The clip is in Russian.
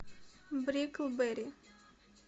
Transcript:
бриклберри